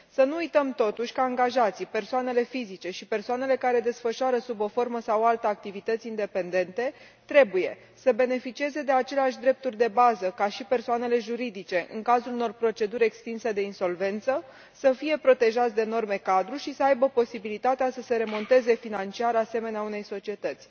Să nu uităm totuși că angajații, persoanele fizice și persoanele care desfășoară sub o formă sau alta activități independente trebuie să beneficieze de aceleași drepturi de bază ca și persoanele juridice în cazul unor proceduri extinse de insolvență, să fie protejați de norme cadru și să aibă posibilitatea să se remonteze financiar, asemenea unei societăți.